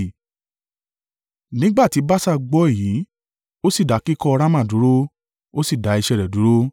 Nígbà tí Baaṣa gbọ́ èyí, ó sì dá kíkọ́ Rama dúró, ó sì dá iṣẹ́ rẹ̀ dúró.